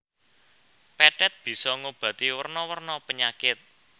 Pethèt bisa ngobati werna werna penyakit